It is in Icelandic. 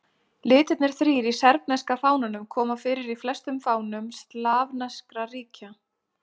Litirnir þrír í serbneska fánanum koma fyrir í flestum fánum slavneskra ríkja.